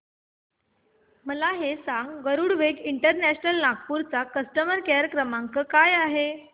मला हे सांग गरुडवेग इंटरनॅशनल नागपूर चा कस्टमर केअर क्रमांक काय आहे